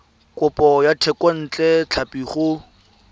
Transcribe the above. kopo ya thekontle tlhapi go